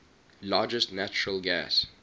largest natural gas